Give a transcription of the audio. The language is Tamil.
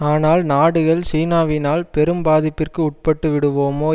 ஆனால் நாடுகள் சீனாவினால் பெரும் பாதிப்பிற்கு உட்பட்டுவிடுவோமோ